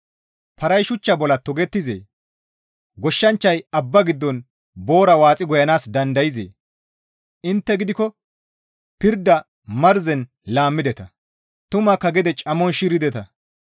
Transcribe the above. Paray shuchcha bolla togettizee? Goshshanchchay abba giddon boora waaxi goyanaas dandayzee? Intte gidikko pirda marzen laammideta; tumakka gede camon shirdeta.